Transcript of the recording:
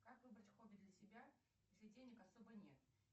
как выбрать хобби для себя если денег особо нет